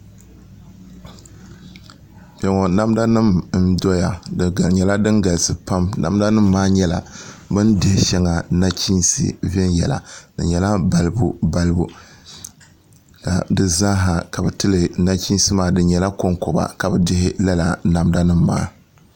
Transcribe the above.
Kpɛ ŋɔ namda nim n dɔya di nyɛla din galisi galisi pam namda nim maa nyɛla bi ni dihi shɛŋa nachiinsi viɛnyɛla di nyɛla balibu balibu di zaaha nachiinsi maa ka bi tili nachiinsi maa di nyɛla konkoba ka bi dihi lala namda nim maa